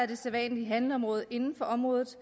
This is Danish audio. det sædvanlige handleområde inden for området